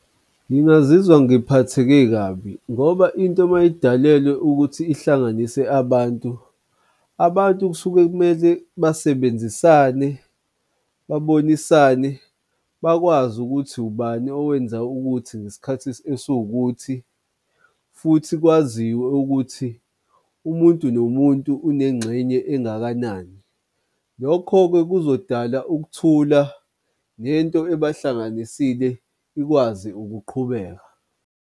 Ngingazizwa ngiphatheke kabi ngoba into mayidalelwe ukuthi ihlanganise abantu, abantu kusuke kumele basebenzisane babonisane bakwazi ukuthi ubani owenza ukuthi ngesikhathi esiwukuthi futhi kwaziwe ukuthi umuntu nomuntu unengxenye engakanani. Lokho-ke kuzodala ukuthula nento ebahlanganisile ikwazi ukuqhubeka.